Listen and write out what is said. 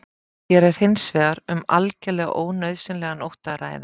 Hér er hins vegar um algjörlega ónauðsynlegan ótta að ræða.